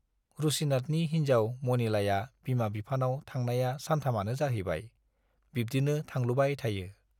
रुसिनाथनि हिन्जाव मनिलाया बिमा-बिफानाव थांनाया सानथामानो जाहैबाय, बिब्दिनो थांलुबाय थायो।